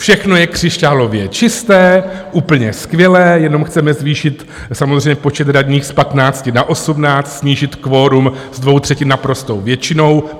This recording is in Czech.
Všechno je křišťálově čisté, úplně skvělé, jenom chceme zvýšit samozřejmě počet radních z 15 na 18, snížit kvorum z dvou třetin naprostou většinou.